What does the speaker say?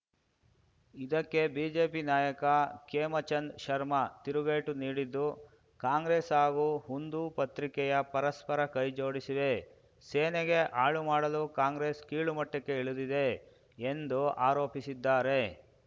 ಇದಕ್ಕೆ ಬಿಜೆಪಿ ನಾಯಕ ಖೇಮಚಂದ್‌ ಶರ್ಮಾ ತಿರುಗೇಟು ನೀಡಿದ್ದು ಕಾಂಗ್ರೆಸ್‌ ಹಾಗೂ ಹುಂದೂ ಪತ್ರಿಕೆಯು ಪರಸ್ಪರ ಕೈಜೋಡಿಸಿವೆ ಸೇನೆಗೆ ಹಾಳು ಮಾಡಲು ಕಾಂಗ್ರೆಸ್‌ ಕೀಳುಮಟ್ಟಕ್ಕೆ ಇಳಿದಿದೆ ಎಂದು ಆರೋಪಿಸಿದ್ದಾರೆ